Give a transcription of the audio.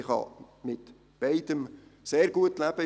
Ich kann mit beidem sehr gut leben.